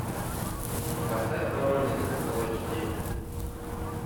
поставь воронины фул эйч ди